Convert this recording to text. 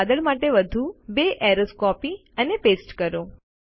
આ વાદળ માટે વધુ બે એરોઝ કોપી અને પેસ્ટ કરો